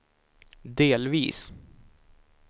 delvis